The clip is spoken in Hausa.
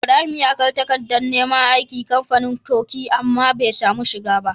Ibrahim ya kai takadar neman aiki kamfanin coke amma be samu shiga ba